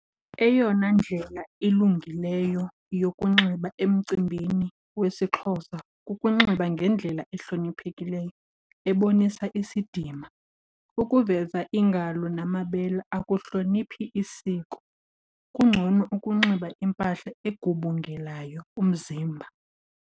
Eyona ndlela ilungileyo yokunxiba emicimbini wesiXhosa kukunxiba ngendlela ehloniphekileyo ebonisa isidima. Ukuveza iingalo namabele akuhloniphi isiko, kungcono ukunxiba impahla egubungelayo umzimba.